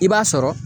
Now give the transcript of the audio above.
I b'a sɔrɔ